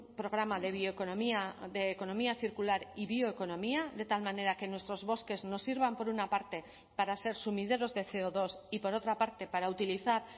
programa de bioeconomía de economía circular y bioeconomía de tal manera que nuestros bosques nos sirvan por una parte para ser sumideros de ce o dos y por otra parte para utilizar